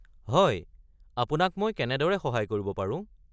হয়, আপোনাক মই কেনেদৰে সহায় কৰিব পাৰোঁ?